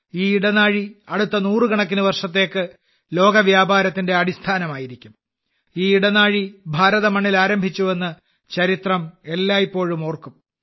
ഈ ഇടനാഴി അടുത്ത നൂറുകണക്കിന് വർഷത്തേക്ക് ലോക വ്യാപാരത്തിന്റെ അടിസ്ഥാനമായിരിക്കും ഈ ഇടനാഴി ഭാരത മണ്ണിൽ ആരംഭിച്ചു എന്ന് ചരിത്രം എല്ലായിപ്പോഴും ഓർക്കും